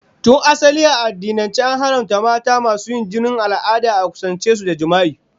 Tun asali a addinance, an haramta mata masu yin jinin al'ada a kusance su da jima'i.